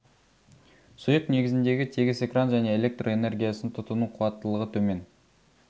сұйық негізіндегі тегіс экран және электр энергиясын тұтыну қуаттылығы төмен